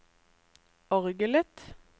orgelet